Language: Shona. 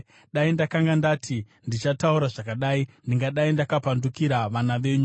Dai ndakanga ndati, “Ndichataura zvakadai,” ndingadai ndakapandukira vana venyu.